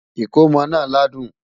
ikòmó nà ládùn